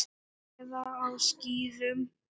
Eða á skíðum.